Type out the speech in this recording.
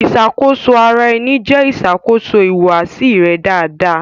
Iṣakoso ara ẹni jẹ iṣakoso ihuwasi rẹ daradara.